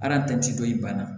dɔ in bana